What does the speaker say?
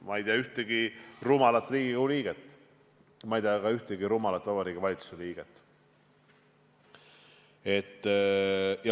Ma ei tea ühtegi rumalat Riigikogu liiget, ma ei tea ka ühtegi rumalat Vabariigi Valitsuse liiget.